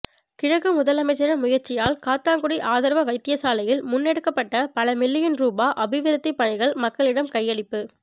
கிழக்கு முதலமைச்சரின் முயற்சியால் காத்தான்குடி ஆதார வைத்தியசாலையில் முன்னெடுக்கப்பட்ட பல மில்லியன் ரூபா அபிவிருத்திப் பணிகள் மக்களிடம் கையளிப்பு